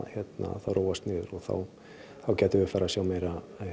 það róast niður þá gætum við farið að sjá meiri